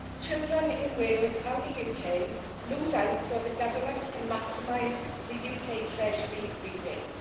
Children in Wales and the UK lose out so that the government can maximise the UK Treasury rebate.